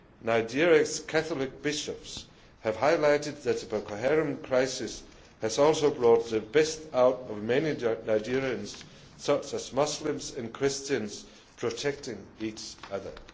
Nigeria's Catholic bishops have highlighted that the Boko Haram crisis has also brought the best out of many Nigerians such as Muslims and Christians protecting each other.